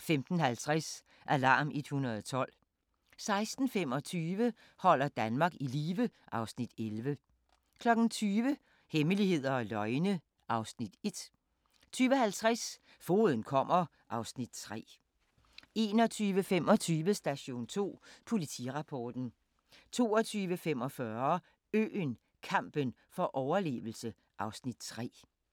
15:50: Alarm 112 16:25: Holder Danmark i live (Afs. 11) 20:00: Hemmeligheder og løgne (Afs. 1) 20:50: Fogeden kommer (Afs. 3) 21:25: Station 2: Politirapporten 22:45: Øen - kampen for overlevelse (Afs. 3)